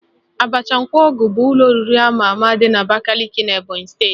Abacha Nkwọgụ bụ ụlọ oriri ama ama dị n'Abakaliki Ebonyị steeti